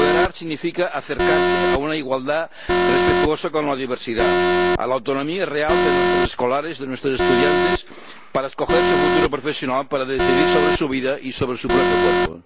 Apoderar significa acercarse a una igualdad respetuosa con la diversidad, a la autonomía real de nuestras escolares, de nuestras estudiantes para escoger su futuro profesional, para decidir sobre su vida y sobre su propio cuerpo.